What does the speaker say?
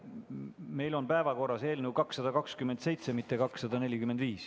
Meil on päevakorras eelnõu 227, mitte 245.